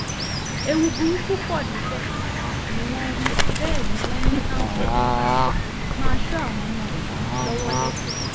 ẹ̀wù burúkú pọ̀ níbẹ̀ ni wọ́n wí bẹ́ẹ̀ ni wọ́n ní káwọn òbí pàápàá máa ṣọ́ àwọn ọmọ yìí lọ́wọ́-lẹ́sẹ̀